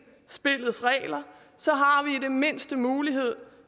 spillets regler så har vi i det mindste mulighed